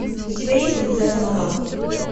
у тебя есть принцесса монако